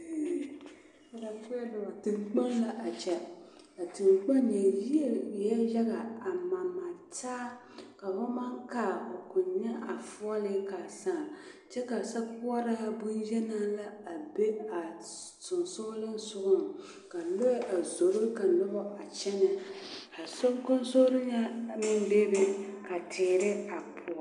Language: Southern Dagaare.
Teŋkpoŋ la a kyɛ a teŋkpoŋ ŋa yie eɛɛ yaga a maremare taa ka fo maŋ kaa fo koŋ nyɛ a foɔlii ka a saa kyɛ ka sokoɔraa bonyeni la a be a sensogleŋ sogaŋ ka lɔɛ a zoro ka noba a kyɛnɛ a soŋkaŋsori ŋa meŋ bebe ka teere a poɔ.